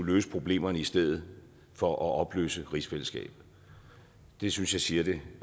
løse problemerne i stedet for at opløse rigsfællesskabet det synes jeg siger det